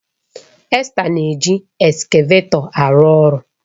Esther na-eji eskavetọ arụ ọrụ